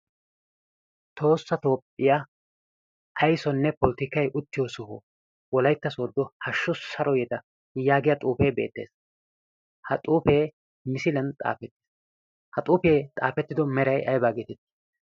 Toosa toophphiyaa aisonne politikkai uttiyo soh wolaytta sodo hashshu saro yideta yaagiya xuufee beettees. Ha xuufee misiilian xaafetties. Ha xuufee xaafettido meray aybaa geetettii?